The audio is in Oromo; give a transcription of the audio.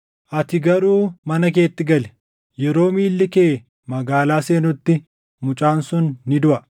“Ati garuu mana keetti gali. Yeroo miilli kee magaalaa seenutti mucaan sun ni duʼa.